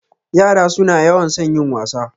Yara suna yawan son yin wasa.